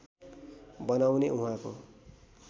बनाउने उहाँको